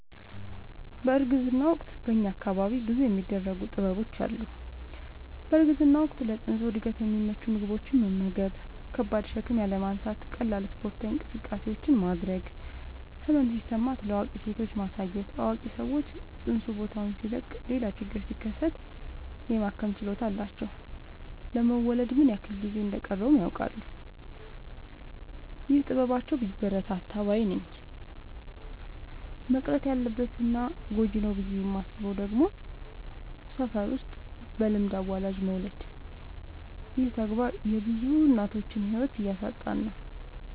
በእርግዝና ወቅት በእኛ አካባቢ ብዙ የሚደረጉ ጥበቦች አሉ። በእርግዝና ወቅት ለፅንሱ እድገት የሚመቹ ምግቦችን መመገብ። ከባድ ሸክም ያለማንሳት ቀላል ስፓርታዊ እንቅስቃሴዎችን ማድረግ። ህመም ሲሰማት ለአዋቂ ሴቶች ማሳየት አዋቂ ሰዎች ፅንሱ ቦታውን ሲለቅ ሌላ ችግር ሲከሰት የማከም ችሎታ አላቸው ለመወለድ ምን ያክል ጊዜ እንደ ሚቀረውም ያውቃሉ። ይህ ጥበባቸው ቢበረታታ ባይነኝ። መቅረት አለበት እና ጎጂ ነው ብዬ የማስበው ደግሞ ሰፈር ውስጥ በልምድ አዋላጅ መውለድ ይህ ተግባር የብዙ እናቶችን ህይወት እያሳጣን ነው።